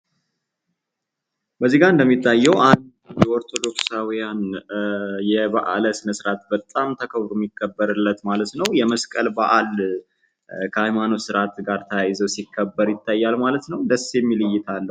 እዚጋ እንደሚታየው አንድ ኦርቶዶክሳዊያን የባዕለ-ስነርዓት በጣም የሚከበርለት ማለት ነው ። የመስቀል በአል የሃይማኖት ስነ ስርዓት ጋር ተያይዞ ሲከበር ይታያል ማለት ነው ። ደስ የሚል እይታ አለው ።